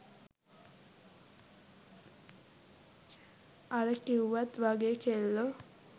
අර කිව්වත් වගේ කෙල්ලෝ